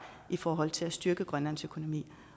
i forhold til at styrke grønlands økonomi